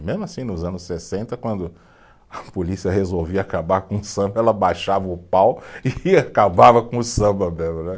E mesmo assim, nos anos sessenta, quando a polícia resolvia acabar com o samba, ela baixava o pau e acabava com o samba mesmo, né.